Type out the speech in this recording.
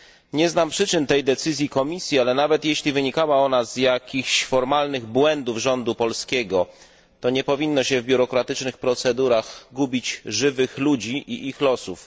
Nie znam przyczyn tej decyzji Komisji, ale nawet jeśli wynikała ona z jakichś formalnych błędów rządu polskiego, to nie powinno się w biurokratycznych procedurach gubić żywych ludzi i ich losów.